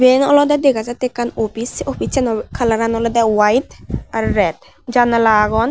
iyen olodey dega jattey ekkan opis sei oissano kalaran olodey white aro red janala agon.